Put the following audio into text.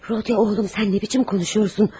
Rodiya, oğlum, sən necə danışırsan?